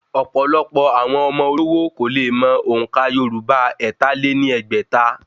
Ọ̀pọ̀lọpọ̀ àwọn ọmọ olówó kò le mọ òǹkà yorùbá ẹ̀ta lé ní ẹgbẹ́ta